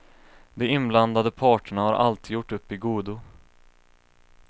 De inblandade parterna har alltid gjort upp i godo.